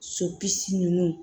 Sopisi nunnu